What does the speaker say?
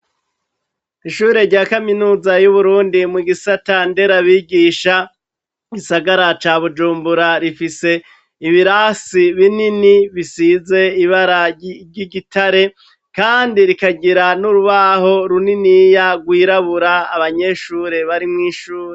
Ishure rya kaminuza y'Uburundi mu gisata nderabigisha mu gisagara ca Bujumbura, rifise ibirasi binini bisize ibara ry'igitare, kandi rikagira n'urubaho runiniya rwirabura abanyeshure bari mw'ishure.